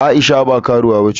Aisha ba karuwa bace.